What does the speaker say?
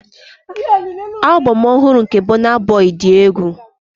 Album ọhụrụ nke Burna Boy dị egwu.